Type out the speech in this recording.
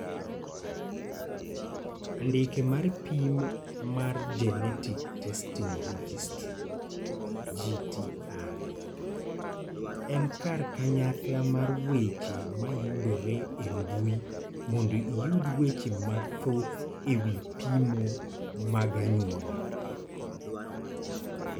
Andike mar pim mar Genetic Testing Registry (GTR) en kar kanyakla mar weche ma yudore e mbui mondo iyud weche mathoth e wi pimo mag anyuola.